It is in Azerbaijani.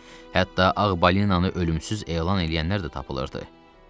Hətta Ağ Balinanı ölümsüz elan eləyənlər də tapılırdı.